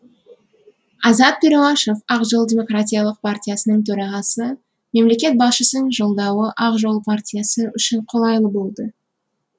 азат перуашев ақ жол демократиялық партиясының төрағасы мемлекет басшысының жолдауы ақ жол партиясы үшін қолайлы болды